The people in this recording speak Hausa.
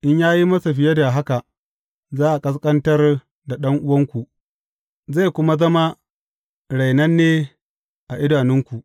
In ya yi masa fiye da haka, za a ƙasƙantar da ɗan’uwanku, zai kuma zama rainanne a idonku.